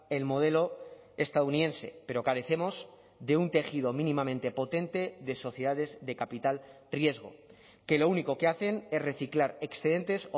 el modelo estadounidense pero carecemos de un tejido mínimamente potente de sociedades de capital riesgo que lo único que hacen es reciclar excedentes